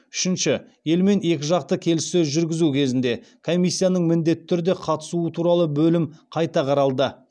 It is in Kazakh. үшінші елмен екіжақты келіссөз жүргізу кезінде комиссияның міндетті түрде қатысуы туралы бөлім қайта қаралды